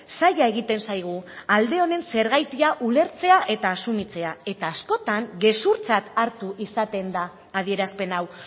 zaila egiten zaigu alde honen zergatia ulertzea eta asumitzea eta askotan gezurtzat hartu izaten da adierazpen hau